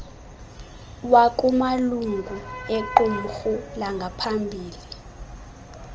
wakumalungu equmrhu langaphambili